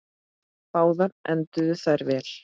Báðar enduðu þær vel.